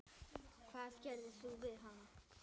Hvað gerðir þú við hana?